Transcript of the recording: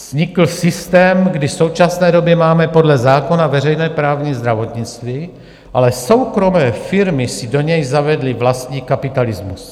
Vznikl systém, kdy v současné době máme podle zákona veřejné právní zdravotnictví, ale soukromé firmy si do něj zavedly vlastní kapitalismus.